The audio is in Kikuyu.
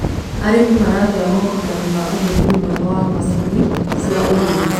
arĩmi maragia morutanĩ ma uhuthiri mwega wa macinĩ cia ũrĩmi